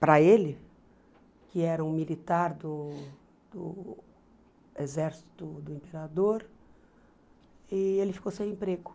para ele, que era um militar do exército do imperador, e ele ficou sem emprego.